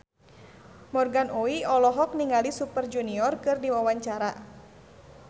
Morgan Oey olohok ningali Super Junior keur diwawancara